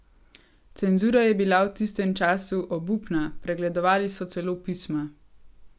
Cenzura je bila v tistem času obupna, pregledovali so celo pisma.